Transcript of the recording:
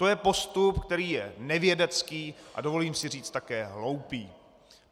To je postup, který je nevědecký, a dovolím si říci, také hloupý.